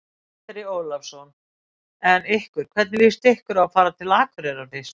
Andri Ólafsson: En ykkur, hvernig líst ykkur á að fara til Akureyrar fyrst?